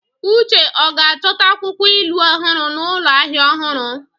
Uche ọ ga-achọta akwụkwọ ilu ọhụrụ n'ụlọ ahịa ọhụrụ?